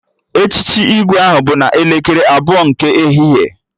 Echichi Igwe ahụ bụ n'elekere abụọ nke ehihie